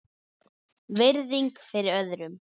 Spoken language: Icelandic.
Virðing fyrir öðrum.